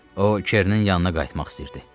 O, Çernin yanına qayıtmaq istəyirdi.